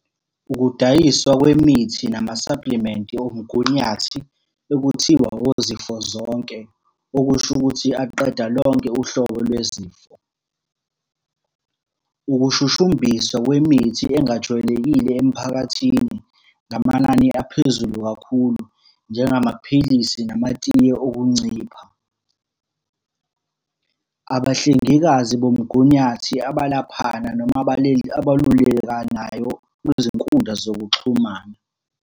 Ukudayiswa kwemithi namasaplimenti omgunyathi, ekuthiwa ozifo zonke, okusho ukuthi aqeda lonke uhlobo lwezifo. Ukushushumbiswa kwemithi engajwayelekile emphakathini ngamanani aphezulu kakhulu, njengamaphilisi, namatiye okuncipha. Abahlengikazi bomgunyathi abalaphana noma abalulekanayo kwizinkundla zokuxhumana.